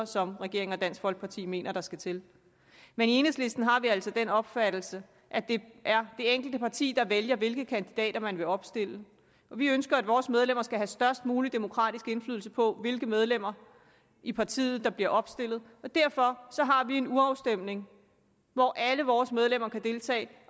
som regeringen og dansk folkeparti mener der skal til men i enhedslisten har vi altså den opfattelse at det er det enkelte parti der vælger hvilke kandidater man vil opstille vi ønsker at vores medlemmer skal have størst mulig demokratisk indflydelse på hvilke medlemmer i partiet der bliver opstillet og derfor har vi en urafstemning hvor alle vores medlemmer kan deltage